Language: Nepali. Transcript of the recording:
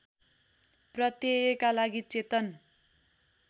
प्रत्ययका लागि चेतन